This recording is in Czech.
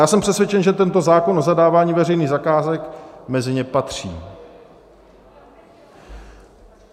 Já jsem přesvědčen, že tento zákon o zadávání veřejných zakázek mezi ně patří.